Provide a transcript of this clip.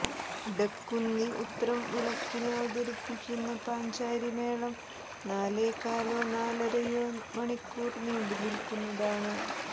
ഇടക്കുന്നി ഉത്രം വിളക്കിന് അവതരിപ്പിക്കുന്ന പഞ്ചാരി മേളം നാലേകാലോ നാലരയോ മണിക്കൂർ നീണ്ടുനിൽക്കുന്നതാണ്